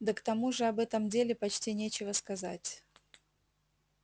да к тому же об этом деле почти нечего сказать